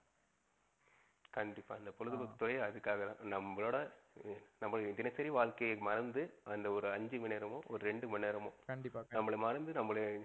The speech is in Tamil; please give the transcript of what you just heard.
கண்டிப்பா ஆஹ் இந்த பொழுதுபோக்குத்துறை அதுக்காகத்தான். நம்பளோட நம்ப தினசரி வாழ்க்கையை மறந்து அந்த ஒரு அஞ்சு மணி நேரமோ, ஒரு ரெண்டு மணி நேரமோ. கண்டிப்பா கண்டிப்பா. நம்பல மறந்து நம்பல